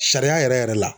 Sariya yɛrɛ yɛrɛ la